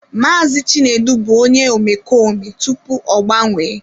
Maazị Chinedu bụ onye omekome tupu ọ gbanwee.